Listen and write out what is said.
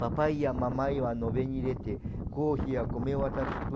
Papai e mamãe